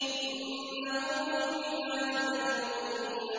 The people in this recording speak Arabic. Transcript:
إِنَّهُ مِنْ عِبَادِنَا الْمُؤْمِنِينَ